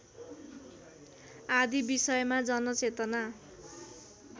आदि विषयमा जनचेतना